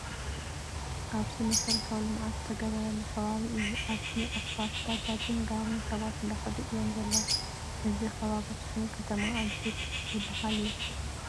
ኣብዚ መስረታዊ ልምዓት ዝተገበረሉ ከባቢ እዩ። ኣብዚ ኣስፋል ባጃጅን ጋሪን ሰባት እንዳከዱ እዮም ዘለው። እዚ ከባቢ ኣኽሱም ከተማ ኣጅብ ዝበሃል ቦታ እዩ።